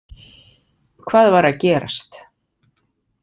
Hvað var að gerast?